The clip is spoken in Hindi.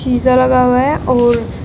शीशा लगा हुआ है और--